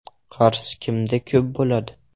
Qarz kimda ko‘p bo‘ladi?